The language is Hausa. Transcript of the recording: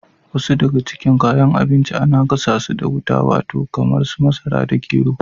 Wasu daga cikin kayan abinci ana gasa su da wuta. Wato kamar su masara da gero.